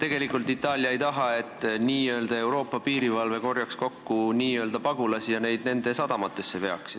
Tegelikult Itaalia ei taha, et n-ö Euroopa piirivalve korjaks kokku n-ö pagulasi ja neid nende sadamatesse veaks.